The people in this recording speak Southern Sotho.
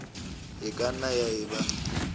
e ka nnang ya eba